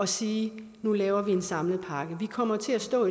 sige nu laver vi en samlet pakke vi kommer til at stå